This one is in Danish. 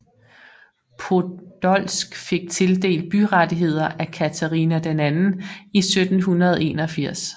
Podolsk fik tildelt byrettigheder af Katharina II i 1781